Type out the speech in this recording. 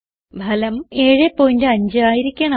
ഫലം 75 ആയിരിക്കണം